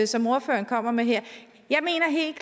som ordføreren kommer med her jeg mener helt